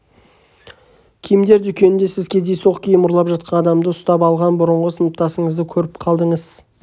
киімдер дүкенінде сіз кездейсоқ киім ұрлап жатқан адамды ұстап алған бұрынғы сыныптасыңызды көріп қалдыңыз